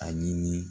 Ani